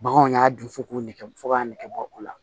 Baganw y'a dun fo k'u nɛgɛ fɔ k'a nɛgɛbɔ o la